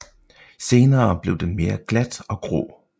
Senere bliver den mere glat og grå